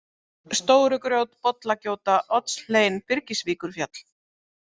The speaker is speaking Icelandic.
Stórugrjót, Bollagjóta, Oddshlein, Byrgisvíkurfjall